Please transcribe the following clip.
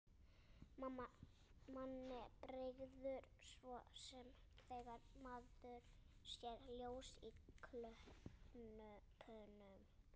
Manni bregður svo sem þegar maður sér ljós í klöppunum.